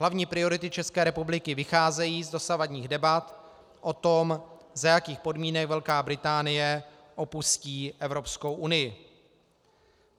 Hlavní priority České republiky vycházejí z dosavadních debat o tom, za jakých podmínek Velká Británie opustí Evropskou unii.